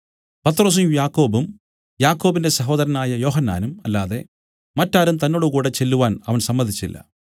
പത്രൊസും യാക്കോബും യാക്കോബിന്റെ സഹോദരനായ യോഹന്നാനും അല്ലാതെ മറ്റാരും തന്നോടുകൂടെ ചെല്ലുവാൻ അവൻ സമ്മതിച്ചില്ല